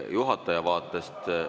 Juhataja vaates ...